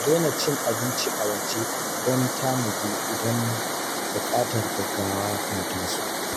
Na daina cin abinci a waje don tanadi idan buƙatar gaggawa ta taso.